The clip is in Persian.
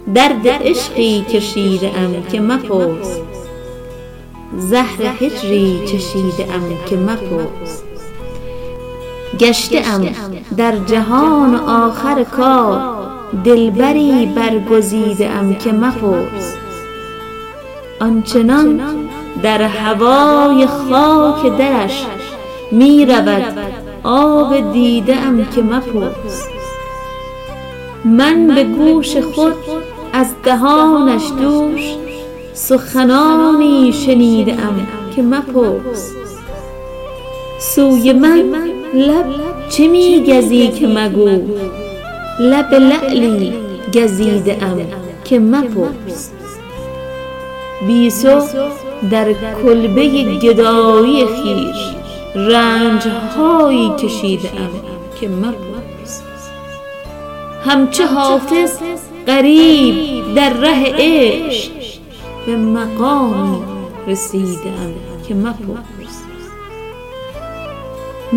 درد عشقی کشیده ام که مپرس زهر هجری چشیده ام که مپرس گشته ام در جهان و آخر کار دلبری برگزیده ام که مپرس آن چنان در هوای خاک درش می رود آب دیده ام که مپرس من به گوش خود از دهانش دوش سخنانی شنیده ام که مپرس سوی من لب چه می گزی که مگوی لب لعلی گزیده ام که مپرس بی تو در کلبه گدایی خویش رنج هایی کشیده ام که مپرس همچو حافظ غریب در ره عشق به مقامی رسیده ام که مپرس